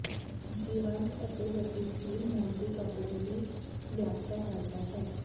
ਜੀਵੰਤ ਅਤੇ ਗਤੀਸ਼ੀਲ ਮੂਰਤੀ ਕੱਪੜੇ ਦੀ ਵਿਆਖਿਆ ਕਰਦਾ ਹੈ